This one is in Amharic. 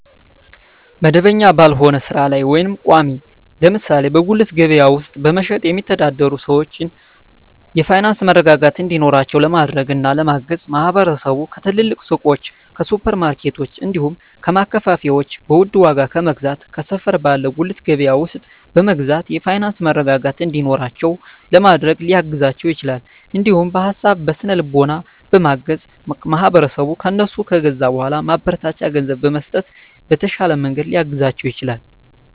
መደበኛ ባልሆነ ስራ ላይ ወይም ቋሚ (ለምሳሌ በጉሊት ገበያ ውስጥ በመሸጥ የሚተዳደሩ ሰዎችን የፋይናንስ መረጋጋት እንዲኖራቸው ለማድረግና ለማገዝ ማህበረሰቡ ከትልልቅ ሱቆች፣ ከሱፐር ማርኬቶች፣ እንዲሁም ከማከፋፈያዎች በውድ ዋጋ ከመግዛት ከሰፈር ባለ ጉሊት ገበያ ውስጥ በመግዛት የፋይናንስ መረጋጋት እንዲኖራቸው ለማድረግ ሊያግዛቸው ይችላል። እንዲሁም በሀሳብ በስነ ልቦና በማገዝ ማህበረሰቡ ከእነሱ ከገዛ በኃላ ማበረታቻ ገንዘብ በመስጠት በተሻለ መንገድ ሊያግዛቸው ይችላል።